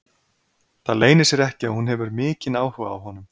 Það leynir sér ekki að hún hefur mikinn áhuga á honum.